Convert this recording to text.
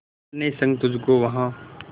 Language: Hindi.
अपने संग तुझको वहां